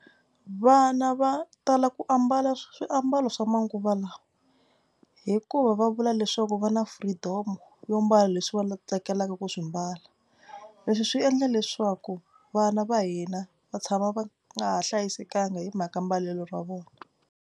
Vana va tala ku ambala swiambalo swa manguva lawa hikuva va vula leswaku va na freedom-o yo mbala leswi va tsakelaka ku swi mbala. Leswi swi endla leswaku vana va hina va tshama va nga ha hlayisekanga hi mhaka mbalelo ra vona.